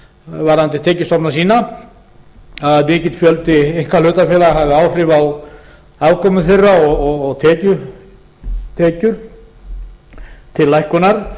varðandi tekjustofna sína að mikill fjöldi einkahlutafélaga hafi áhrif á afkomu þeirra og tekjur til lækkunar